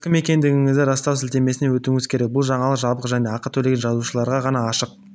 сіз кім екендігіңізді растау сілтемесіне өтуіңіз керек бұл жаңалық жабық және ақы төлеген жазылушыларға ғана ашық